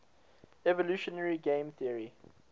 evolutionary game theory